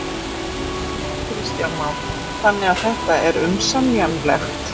Kristján Már: Þannig að þetta er umsemjanlegt?